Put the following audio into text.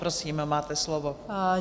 Prosím, máte slovo.